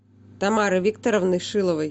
тамары викторовны шиловой